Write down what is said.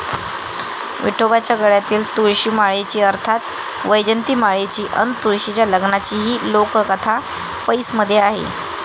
विठोबाच्या गळ्यातील तुळशीमाळेची अर्थात वैजयंतीमाळेची अन तुळशीच्या लग्नाची ही लोककथा 'पैस'मध्ये आहे.